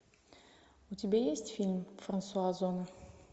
у тебя есть фильм франсуа озона